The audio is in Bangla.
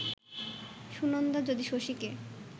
সুনন্দা যদি শশীকে